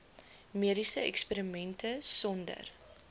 mediese eksperimente sonder